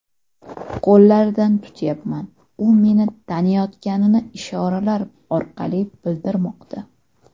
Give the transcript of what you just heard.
Qo‘llaridan tutyapman, u meni taniyotganini ishoralar orqali bildirmoqda.